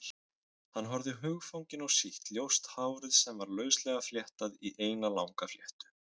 Hann horfði hugfanginn á sítt, ljóst hárið sem var lauslega fléttað í eina langa fléttu.